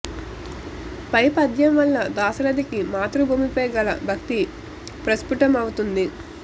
పై పద్యం వల్ల దాశరథికి మాతృభూమిపై గల భక్తి ప్రస్ఫుటమవుతుంది